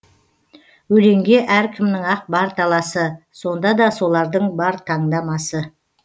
өлеңге әркімнің ақ бар таласы сонда да солардың бар таңдамасы